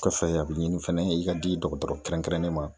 Kɔfɛ a bi ɲini fɛnɛ i ka di dɔgɔtɔrɔ kɛrɛnkɛrɛnnen ma